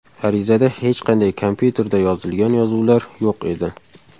Arizada hech qanday kompyuterda yozilgan yozuvlar yo‘q edi.